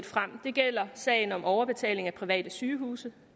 frem det gælder sagen om overbetaling af private sygehuse